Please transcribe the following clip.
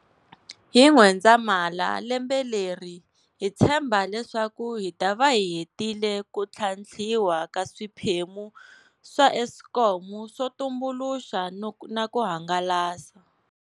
Hi N'wendzamhala lembe leri hi tshemba leswaku hi ta va hi hetile ku tlhantlhiwa ka swiphemu swa Eskom swo tumbuluxa na ku hangalasa.